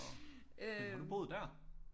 Men har du boet der